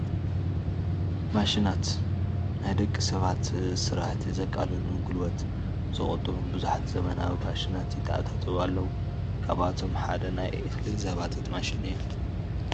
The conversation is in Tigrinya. ማሽናት፡- ንናይ ደቂ ሰባት ስራሕቲ ዘቃልሉን ጉልበት ዝቑጡቡን ብዙሓት ዘበናዊ ማሽናት ይተኣታተው ኣለው፡፡ ካብኣቶም ሓደ ናይ እኽሊ ዘባጢት ማሽን እያ፡፡